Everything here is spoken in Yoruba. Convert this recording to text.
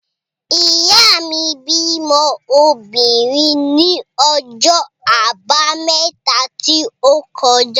Ìyá mi bímọ obìnrin ní ọjọ́ Àbámẹ́ta tí ó kọjá.